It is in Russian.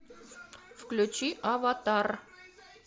включи аватар